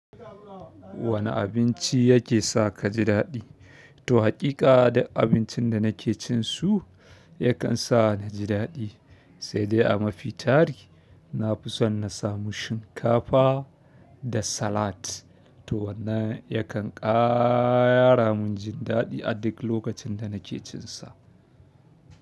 Wane abinci ya sa kaji daɗi to haƙiƙa, abincin da nake cin su yakan sa ni ji daɗi, sai dai a mafi tari na fi son na samu shinkafa da salat. To wannan yakan ƙaramin ji daɗi a duk lokacin da nake cin sa.